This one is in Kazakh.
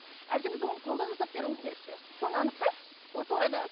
әлде біз оны қолдан жасап беруіміз керек пе соны анықтайықшы осы орайда